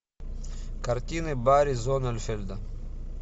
картины барри зоннеинфельда